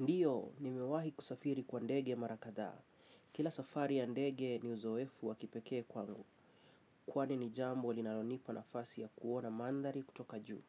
Ndiyo, nimewahi kusafiri kwa ndege mara kadhaa. Kila safari ya ndege ni uzoefu wa kipekee kwangu. Kwani ni jambo linalonipa nafasi ya kuona mandhari kutoka juu